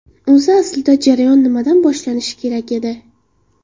O‘zi aslida jarayon nimadan boshlanishi kerak edi?